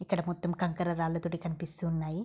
ఇక్కడ మొత్తం కంకర రాళ్ళతోటి కనిపిస్తూ ఉన్నాయి.